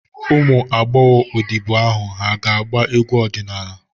Ụmụ agbọghọ odibo ahụ hà ga-agba egwu ọdịnala?